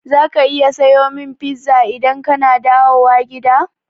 Za ka iya sayo min pizza idan kana dawowa gida?